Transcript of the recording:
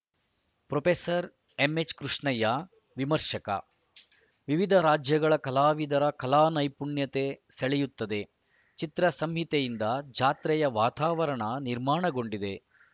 professor M H Krishnaiah ವಿಮರ್ಶಕ ವಿವಿಧ ರಾಜ್ಯಗಳ ಕಲಾವಿದರ ಕಲಾ ನೈಪುಣ್ಯತೆ ಸೆಳೆಯುತ್ತದೆ ಚಿತ್ರಸಂತೆಯಿಂದ ಜಾತ್ರೆಯ ವಾತಾವರಣ ನಿರ್ಮಾಣಗೊಂಡಿದೆ